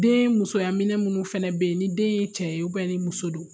Den musoyaminɛ minnu fana bɛ yen ni den ye cɛ ye ni muso don